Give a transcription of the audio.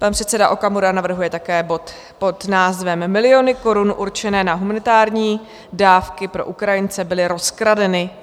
Pan předseda Okamura navrhuje také bod pod názvem Miliony korun určené na humanitární dávky pro Ukrajince byly rozkradeny.